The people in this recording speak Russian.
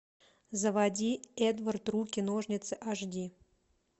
заводи эдвард руки ножницы аш ди